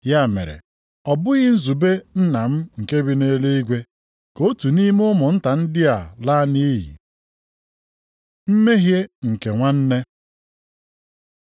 Ya mere, ọ bụghị nzube Nna m nke bi nʼeluigwe ka otu nʼime ụmụnta ndị a ala nʼiyi. Mmehie nke nwanne